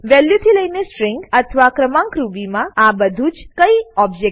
વેલ્યુંથી લઈને સ્ટ્રીંગ અથવા ક્રમાંક રૂબી માં આ બધુજ કઈ ઓબજેક્ટ છે